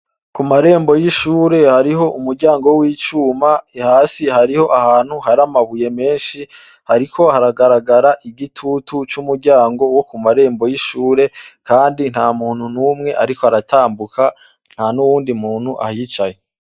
Ku marembo y'ishure, hariho umuryango w'icuma. Hasi hariho ahantu hari amabuye menshi hariko haragaragara igitutu c'umuryango wo ku marembo y'ishure, kandi nta muntu n'umwe ariko aratambuka, ntan'uwundi muntu ahicaye.